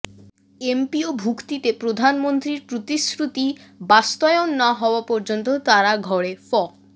এমপিওভুক্তিতে প্রধানমন্ত্রীর প্রতিশ্রুতি বাস্তয়ন না হওয়া পর্যন্ত তারা ঘরে ফ